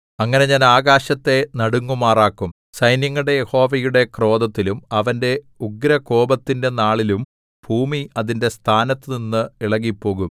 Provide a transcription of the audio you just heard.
അങ്ങനെ ഞാൻ ആകാശത്തെ നടുങ്ങുമാറാക്കും സൈന്യങ്ങളുടെ യഹോവയുടെ ക്രോധത്തിലും അവന്റെ ഉഗ്രകോപത്തിന്റെ നാളിലും ഭൂമി അതിന്റെ സ്ഥാനത്തുനിന്ന് ഇളകിപ്പോകും